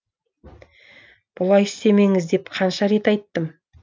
бұлай істемеңіз деп қанша рет айттым